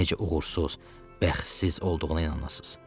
Necə uğursuz, bəxtsiz olduğuna inanasız.